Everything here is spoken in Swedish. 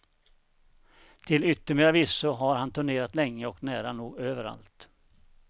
Till yttermera visso har han turnerat länge och nära nog överallt.